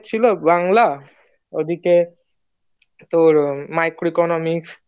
ছিল বাংলা ওদিকে তোর micro economics